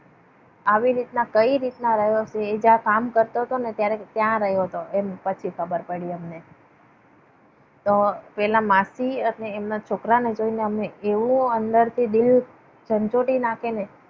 આવી રીતના કઈ રીતના રહ્યો છે એ જહીંયા કામ કરતો હતો ને ત્યાં રહ્યો હતો. એ પછી ખબર પડી અમને. તો પેલા માસી અને એમના છોકરાને જોઈને એવું અમને અંદરથી દિલ જંજૂટી નાખીને.